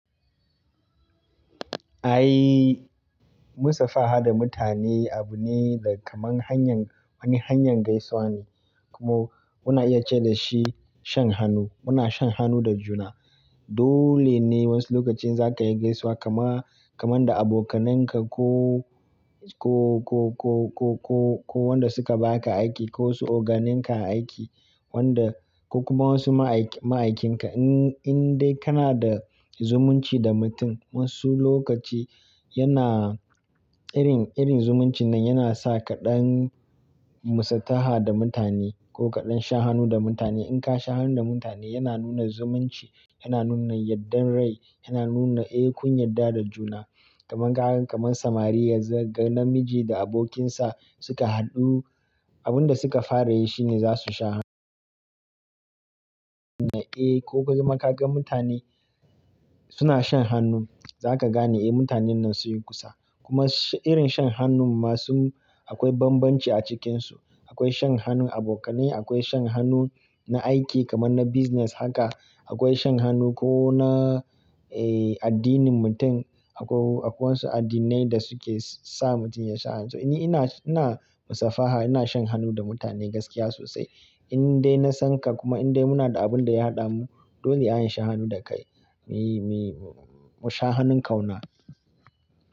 Ai, musabaha da mutane abu ne da kamar hanyar, wani hanyar gaisuwa ne. Kuma muna iya ce da shi shan hannu. Muna shan hannu da juna. Dole ne wasu lokacin za ka yi gaisuwa kama, kamar da abokanan ka ko, ko, ko, ko, ko, ko, ko wanda suka ba ka aiki ko su oganin ka aiki wanda ko kuma wasu ma'ai, ma'aikin ka. In, in dai kana da zumunci da mutum wasu lokaci yana irin, irin zumuncin nan yana sa kaɗan musataha da mutane ko kaɗan shan hannu da mutane. In ka sha hannu da mutane yana nuna zumunci, yana nuna yadda rai, yana nuna eh kun yadda da juna. Kaman ka gan, kaman samari ga namiji da abokin sa suka haɗu, abun da suka fara yi shine za su sha hannu. Eh ko ka gan, ka gan mutane suna shan hannu za ka gane eh mutanen nan sun yi kusa. Kuma irin shan hannun ma sun akwai banbanci a cikin su. Akwai shan hannun abokanai, akwai shan hannu na aiki kamar na business haka. Akwai shan hannu ko na eh addinin mutum. Akwai, akwai wasu addinai da suke sa mutum ya sha hannu. To ni ina, ina musafaha, ina shan hannu da mutane gaskiya sosai. In dai na san ka kuma in dai muna da abun da ya haɗa mu dole a yi shan hannu da kai. Mi, mi, mu sha hannun kauna.